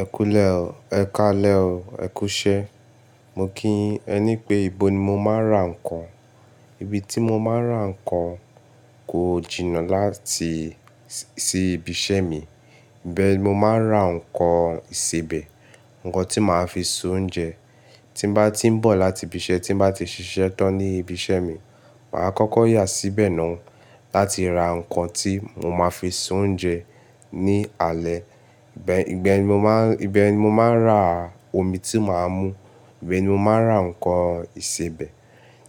Ẹ kú le ọ, ẹ̀kaà lé ọ, ẹ kú iṣé. Mo kí yin ẹ ní pé, ibo ni mo máa ń ra ǹkan? Ibi tí mo máa ń ra ǹkan kò jìnnà láti sí ibi iṣẹ́ mi. Ìbẹ̀ ni mo máa ń ra ǹkan ìsebẹ̀, ǹkan tí màá fi ṣe oúnjẹ. Tí bá tí ń bọ̀ láti ibi iṣẹ́, tí bá ti ṣiṣẹ́ tán ní ibi iṣẹ́ mi, màá kọ́kọ́ yà síbẹ̀ náà láti ra ǹkan tí mo máa fi ṣe oúnjẹ ní alẹ́. Ìbẹ̀, ìgbà ẹni mo máa ń, ìbẹ̀ ni mo máa ń ra omi tí màá mú, ìbẹ̀ ni mo máa ń ra ǹkan ìsebẹ̀.